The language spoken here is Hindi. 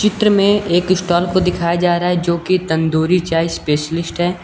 चित्र मे एक स्टॉल को दिखाया जा रहा है जो की तंदूरी चाय स्पेशलिस्ट है।